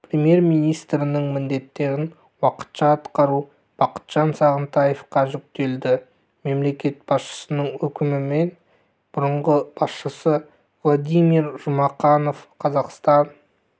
премьер-министрінің міндеттерін уақытша атқару бақытжан сағынтаевқа жүктелді мемлекет басшысының өкімімен бұрынғы басшысы владимир жұмақанов қазақстан